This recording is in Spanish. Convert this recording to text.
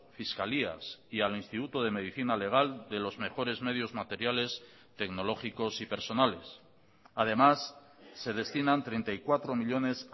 fiscalías y al instituto de medicina legal de los mejores medios materiales tecnológicos y personales además se destinan treinta y cuatro millónes